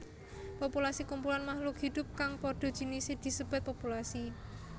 Populasi Kumpulan makhluk hidup kang padha jinise disebat populasi